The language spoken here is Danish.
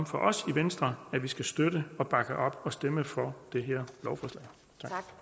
for os i venstre at vi skal støtte bakke op og stemme for det